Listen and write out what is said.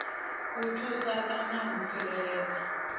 u thusa kana u tsireledza